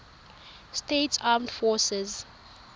states armed forces